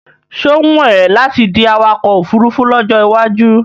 Ṣé ó wùn é láti di awakọ̀ ofurufú lọ́jọ́ iwájú?